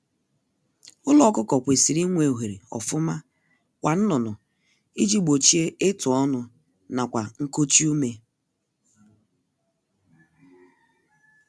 Ụlọ ọkụkọ kwesịrị inwe ohere ofuma kwa nnụnụ iji gbochie ịtụ ọnụ nakwa nkochi ume